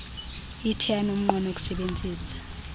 ithe yanomnqweno wokusebenzisa